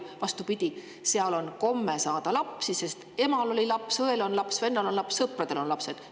Seal on, vastupidi, komme saada lapsi, sest emal on laps, õel ja vennal on laps ning sõpradel on lapsed.